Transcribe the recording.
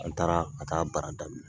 An taara ka taa baara daminɛ